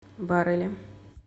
барели